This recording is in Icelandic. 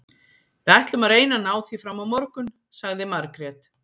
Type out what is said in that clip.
Við ætlum að reyna að ná því fram á morgun, sagði Margrét.